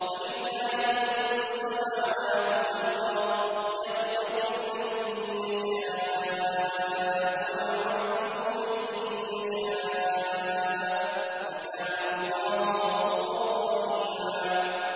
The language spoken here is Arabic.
وَلِلَّهِ مُلْكُ السَّمَاوَاتِ وَالْأَرْضِ ۚ يَغْفِرُ لِمَن يَشَاءُ وَيُعَذِّبُ مَن يَشَاءُ ۚ وَكَانَ اللَّهُ غَفُورًا رَّحِيمًا